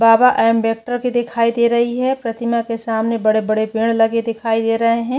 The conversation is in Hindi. बाबा अम्बेडकर की दिखाई दे रही है प्रतिमा के सामने बड़े - बड़े पेड लगे दिखाई दे रहै है।